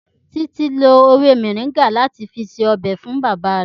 Títí lo ewé moringa láti fi ṣe ọbẹ̀ fún bàbá rẹ̀